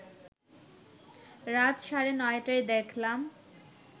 রাত সাড়ে নটায় দেখলাম